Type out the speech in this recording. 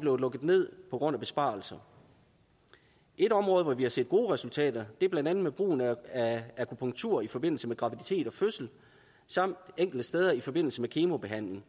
blevet lukket ned på grund af besparelser et område hvor vi har set gode resultater er blandt andet brugen af akupunktur i forbindelse med graviditet og fødsel samt enkelte steder i forbindelse med kemobehandling